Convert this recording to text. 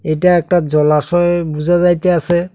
এটা একটা জলাশয়ে বুঝা যাইতাছে।